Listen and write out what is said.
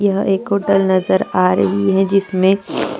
यह एक होटल नज़र आ रही है जिसमे--